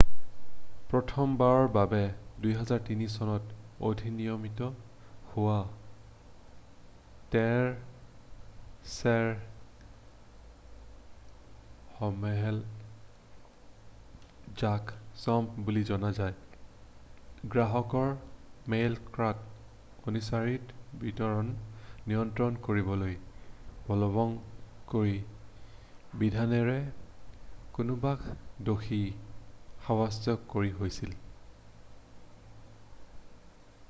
প্ৰথমবাৰৰ বাবে 2003 চনত অধিনিয়মিত হোৱা ঢেৰ ইমেইল যাক স্পেম বুলিও জনা যায় গ্ৰাহকৰ মেইলবক্সত অনিচ্ছাসত্বেও বিতৰণৰ নিয়ন্ত্ৰণ কৰিবলৈ বলৱৎ কৰা বিধানেৰে কোনোবাক দোষী সাব্যস্ত কৰা হৈছিল